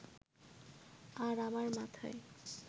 আর আমার মাথায়